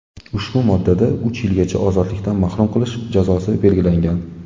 Ushbu moddada uch yilgacha ozodlikdan mahrum qilish jazosi belgilangan.